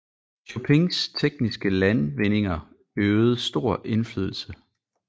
Chopins tekniske landvindinger øvede stor indflydelse